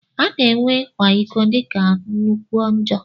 Ana ewe ikwa ịkọ dika nnukwu njọ.